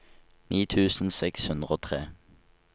ni tusen seks hundre og tre